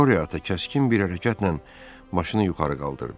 Qoryo ata kəskin bir hərəkətlə maşını yuxarı qaldırdı.